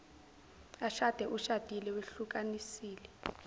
ashade ushadile wehlukanisile